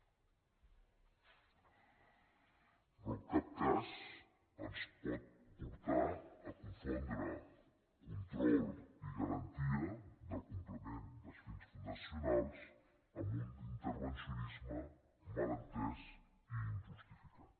però en cap cas ens pot portar a confondre control i garantia del compliment dels fins fundacionals amb un intervencionisme mal entès i injustificat